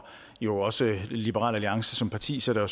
jo også liberal alliance som parti sætter jo